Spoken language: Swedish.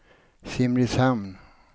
Simrishamn